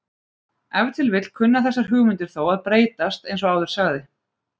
ef til vill kunna þessar hugmyndir þó að breytast eins og áður sagði